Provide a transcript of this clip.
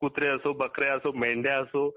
कुत्रे असो ,बकऱ्या असो, किंवा मेंढ्या असो